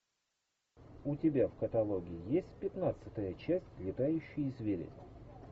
у тебя в каталоге есть пятнадцатая часть летающие звери